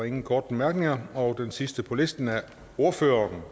ingen korte bemærkninger den sidste på listen er ordføreren